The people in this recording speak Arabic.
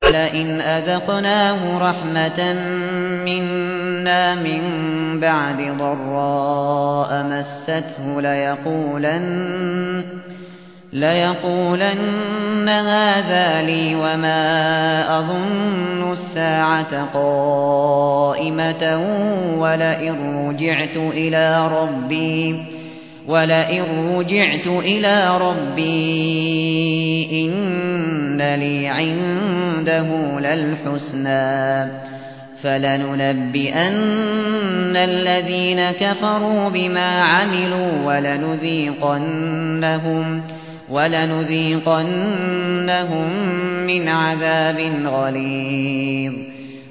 وَلَئِنْ أَذَقْنَاهُ رَحْمَةً مِّنَّا مِن بَعْدِ ضَرَّاءَ مَسَّتْهُ لَيَقُولَنَّ هَٰذَا لِي وَمَا أَظُنُّ السَّاعَةَ قَائِمَةً وَلَئِن رُّجِعْتُ إِلَىٰ رَبِّي إِنَّ لِي عِندَهُ لَلْحُسْنَىٰ ۚ فَلَنُنَبِّئَنَّ الَّذِينَ كَفَرُوا بِمَا عَمِلُوا وَلَنُذِيقَنَّهُم مِّنْ عَذَابٍ غَلِيظٍ